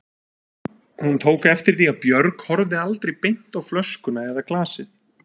Hún tók eftir því að Björg horfði aldrei beint á flöskuna eða glasið.